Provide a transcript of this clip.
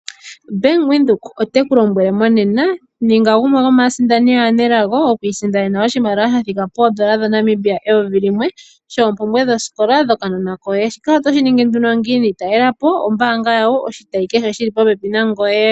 Bank Windhoek oteku lombwele monena, ninga gumwe gomaasindani aanelago okwiisindanena oshimaliwa shathika poondola dhaNamibia dha thika peyovi limwe shoompumbwe dhosikola dhokanona koye. Shika oto shiningi nduno ngiini? Talelepo ombanga yawo oshitayi kehe shili popepi nangoye.